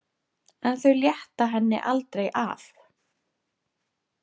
En þau létta henni aldrei af.